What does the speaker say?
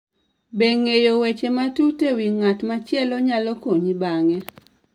Be ng'eyo weche matut e wi ng'at machielo nyalo konyi bang'e?